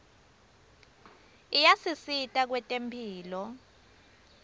ayasisita kwetemphilo